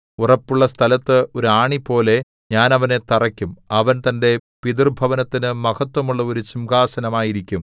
ഉറപ്പുള്ള സ്ഥലത്ത് ഒരു ആണിപോലെ ഞാൻ അവനെ തറയ്ക്കും അവൻ തന്റെ പിതൃഭവനത്തിനു മഹത്ത്വമുള്ള ഒരു സിംഹാസനം ആയിരിക്കും